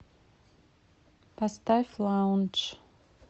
поставь лаундж